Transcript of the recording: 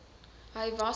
hy was al